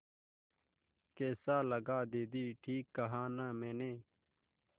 कैसा लगा दीदी ठीक कहा न मैंने